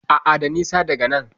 A'a, da nisa daga nan.